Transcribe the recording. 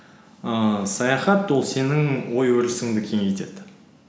ііі саяхат ол сенің ой өрісіңді кеңейтеді